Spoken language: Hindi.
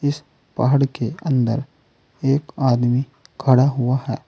पहाड़ के अंदर एक आदमी खड़ा हुआ है।